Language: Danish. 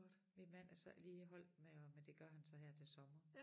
Min mand er så ikke lige holdt med at men det gør han så her til sommer